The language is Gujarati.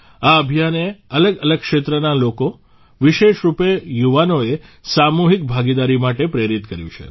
આ અભિયાને અલગઅલગ ક્ષેત્રના લોકો વિશેષરૂપે યુવાઓને સામૂહિક ભાગીદારી માટે પ્રેરિત કર્યું છે